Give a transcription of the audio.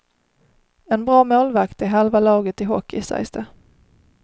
En bra målvakt är halva laget i hockey sägs det.